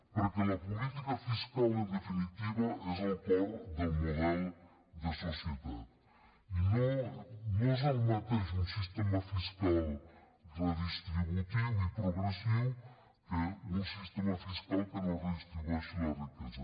perquè la política fiscal en definitiva és el cor del model de societat i no és el mateix un sistema fiscal redistributiu i progressiu que un sistema fiscal que no redistribueixi la riquesa